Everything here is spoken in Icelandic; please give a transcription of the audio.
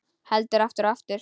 Heldur aftur og aftur.